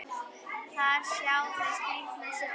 Þar sjá þau skrýtna sjón.